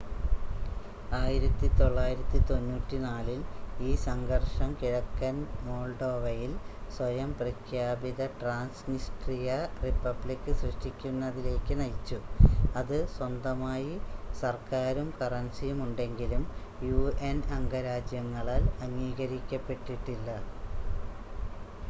1994 ൽ ഈ സംഘർഷം കിഴക്കൻ മോൾഡോവയിൽ സ്വയം പ്രഖ്യാപിത ട്രാൻസ്‌നിസ്ട്രിയ റിപ്പബ്ലിക്ക് സൃഷ്ടിക്കുന്നതിലേക്ക് നയിച്ചു അത് സ്വന്തമായി സർക്കാരും കറൻസിയുമുണ്ടെങ്കിലും യുഎൻ അംഗരാജ്യങ്ങളാൽ അംഗീകരിക്കപ്പെട്ടിട്ടില്ല